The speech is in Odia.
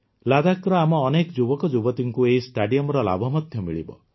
ଲଦାଖର ଆମ ଅନେକ ଯୁବକଯୁବତୀଙ୍କୁ ଏହି ଷ୍ଟାଡିୟମର ଲାଭ ମଧ୍ୟ ମିଳିବ